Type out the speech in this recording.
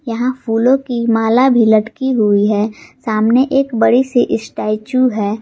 यहां फूलों की माला भी लटकी हुई है सामने एक बड़ी सी स्टैचू है।